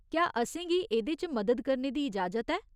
क्या असेंगी एह्दे च मदद करने दी इजाजत ऐ?